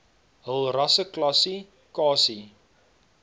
hul rasseklassi kasie